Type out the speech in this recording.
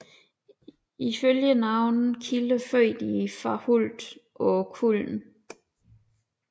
Ifølge nogle kilder født i Farhult på Kullen